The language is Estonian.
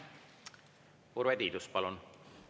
Urve Tiidus, palun!